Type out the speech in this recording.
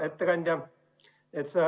Hea ettekandja!